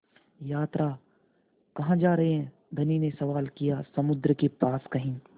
यात्रा कहाँ जा रहे हैं धनी ने सवाल किया समुद्र के पास कहीं